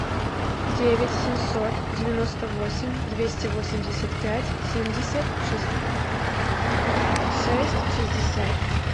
девять семьсот девяносто восемь двести восемьдесят пять семьдесят шесть шестьдесят